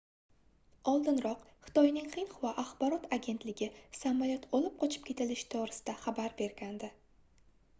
oldinroq xitoyning xinhua axborot agentligi samolyot olib qochib ketilishi toʻgʻrisida xabar bergandi